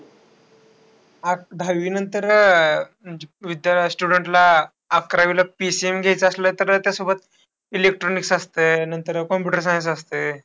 अह दहावीनंतर अह म्हणजे विद्या students ना अकरावीला PCM घ्यायचं असलं तर त्याचा सोबत electronics असतं नंतर, computer-science असतं.